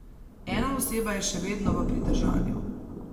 Ena oseba je še vedno v pridržanju.